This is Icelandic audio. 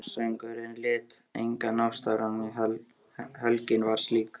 Aftansöngurinn lét engan ósnortinn, helgin var slík.